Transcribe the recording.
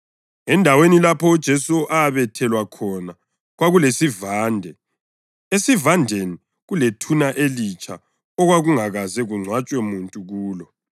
Endaweni lapho uJesu abethelwa khona kwakulesivande, esivandeni kulethuna elitsha okwakungakaze kungcwatshwe muntu kulo.